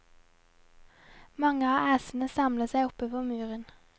Mange av æsene samler seg oppe på muren.